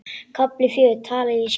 KAFLI FJÖGUR Tala ég skýrt?